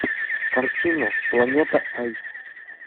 картина планета ай